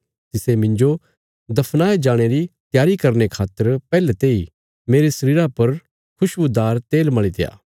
तिसे मिन्जो दफनाये जाणे री त्यारी करने खातर पैहले तेई मेरे शरीरा पर खुशबुदार तेल मल़ीत्या